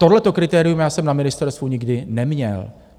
Tohleto kritérium já jsem na ministerstvu nikdy neměl.